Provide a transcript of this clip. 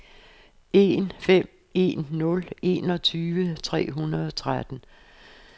en fem en nul enogtyve tre hundrede og tretten